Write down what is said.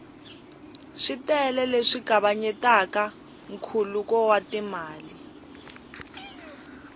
switele leswi kavanyetaka nkhuluko wa timali